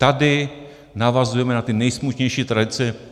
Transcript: Tady navazujeme na ty nejsmutnější tradice.